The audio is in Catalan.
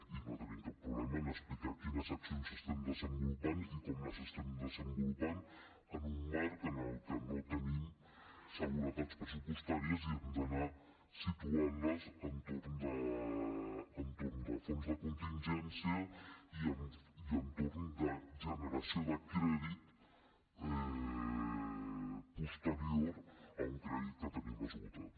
i no tenim cap problema en explicar quines accions estem desenvolupant i com les estem desenvolupant en un marc en el que no tenim seguretats pressupostàries i hem d’anar situant les amb fons de contingència i amb generació de crèdit posterior a un crèdit que tenim esgotat